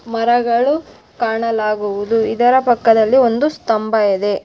ಮರಗಳು ಕಾಣಲಾಗುವುದು ಇದರ ಪಕ್ಕದಲ್ಲಿ ಒಂದು ಸ್ತಂಭ ಇದೆ .